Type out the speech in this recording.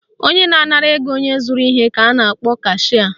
Onye na-anara ego onye zụrụ ihe ka a na-akpọ cashịa